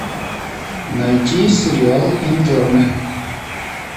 найти сериал интерны